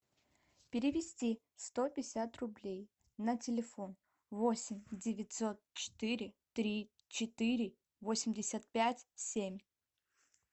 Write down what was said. перевести сто пятьдесят рублей на телефон восемь девятьсот четыре три четыре восемьдесят пять семь